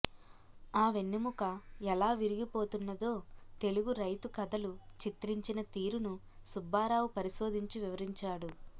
ఆ వెన్నెముక ఎలా విరిగి పోతున్నదో తెలుగు రైతు కథలు చిత్రించిన తీరును సుబ్బారావు పరిశోధించి వివరించాడు